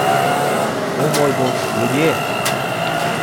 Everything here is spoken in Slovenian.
O, moj bog, ljudje!